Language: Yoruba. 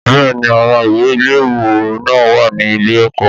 Bẹ́ẹ̀ni, àwọn ìwé ìléwọ́ náà wà ní ilé-ẹ̀kọ́